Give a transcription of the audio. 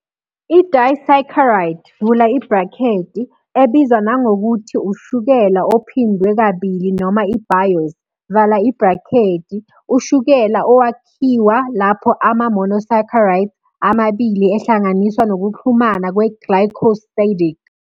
I-disaccharide, ebizwa nangokuthi ushukela ophindwe kabili noma i-biose, ushukela owakhiwa lapho ama-monosaccharides amabili ehlanganiswa nokuxhumana kwe-glycosidic.